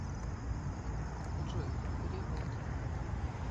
джой перевод